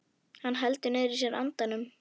Hann heldur niðri í sér andanum.